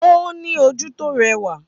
Ó ní ojú tó rẹwà